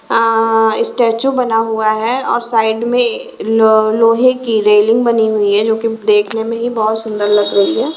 अ statue बना हुआ है और साइड में ल लोहे की रेलिंग बनी हुई है जो की देखने में ही बहुत सुंदर लग रही है।